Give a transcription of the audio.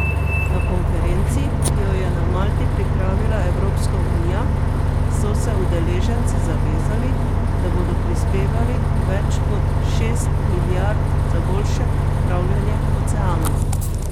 Na konferenci, ki jo je na Malti pripravila Evropska unija, so se udeleženci zavezali, da bodo prispevali več kot šest milijard za boljše upravljanje oceanov.